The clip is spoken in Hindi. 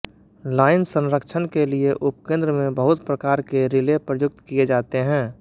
लाइन संरक्षण के लिए उपकेंद्र में बहुत प्रकार के रिले प्रयुक्त किए जाते हैं